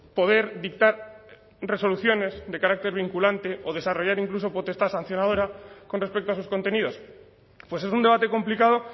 poder dictar resoluciones de carácter vinculante o desarrollar incluso potestad sancionadora con respecto a sus contenidos pues es un debate complicado